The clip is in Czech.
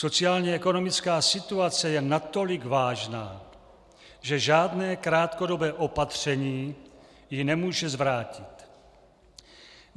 Sociálně ekonomická situace je natolik vážná, že žádné krátkodobé opatření ji nemůže zvrátit.